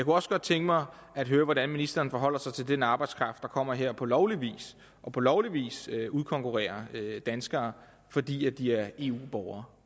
også godt tænke mig at høre hvordan ministeren forholder sig til den arbejdskraft der kommer her på lovlig vis og på lovlig vis udkonkurrerer danskere fordi de er eu borgere